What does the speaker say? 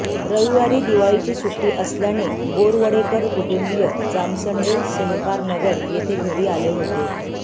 रविवारी दिवाळीची सुट्टी असल्याने बोरवडेकर कुटुंबीय जामसंडे सहकारनगर येथे घरी आले होते